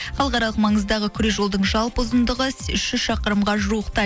халықаралық маңыздағы күре жолдың жалпы ұзындығы үш жүз шақырымға жуықтайды